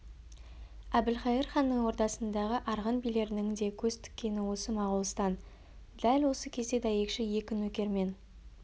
әбілқайыр ханның ордасындағы арғын билерінің де көз тіккені осы моғолстан дәл осы кезде дәйекші екі нөкермен